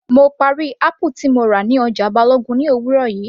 Mo parí apple tí mo rà ní ọjà Balogun ní òwúrọ̀ yìí